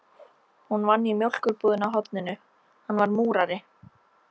Hún vann í mjólkurbúðinni á horninu, hann var múrari.